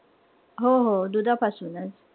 हो-हो दुधापासूनच.